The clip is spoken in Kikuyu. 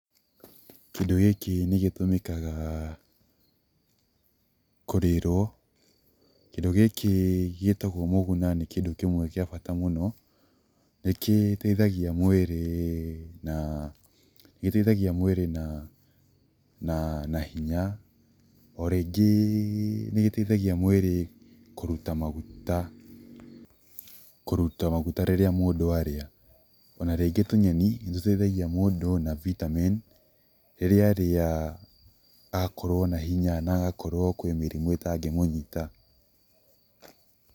Kĩndũ gĩkĩ nĩ gĩtũmĩkaga kũrĩĩrwo, kĩndũ gĩkĩ gĩtagwo mũguna nĩ kĩndũ kĩmwe kĩa bata mũno, nĩkĩteithagia mwĩri na, nĩkĩteithagia mwĩrĩ na hinya, o rĩngĩ nĩ gĩteithagia mwĩrĩ kũruta maguta, kũruta maguta rĩrĩa mũndũ arĩa, ona rĩngĩ tũnyeni nĩ tũteithagia mũndũ na vitamin rĩrĩa arĩa agakorwo na hinya na agakorwo kwĩ mĩrimũ ĩtangĩmũnyita.